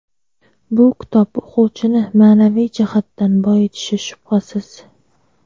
Bu kitob o‘quvchini ma’naviy jihatdan boyitishi shubhasiz.